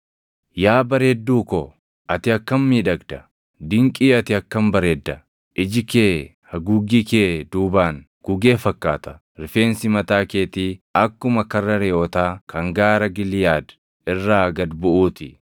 Yaa bareedduu ko, ati akkam miidhagda! Dinqii ati akkam bareedda! Iji kee haguuggii kee duubaan gugee fakkaata. Rifeensi mataa keetii akkuma karra reʼootaa kan gaara Giliʼaad irraa gad buʼuu ti.